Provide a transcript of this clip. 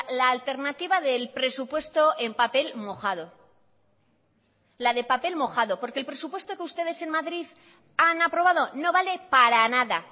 la alternativa del presupuesto en papel mojado la de papel mojado porque el presupuesto que ustedes en madrid han aprobado no vale para nada